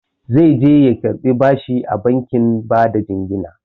Zaije ya karɓi bashi a bankin bada jingina.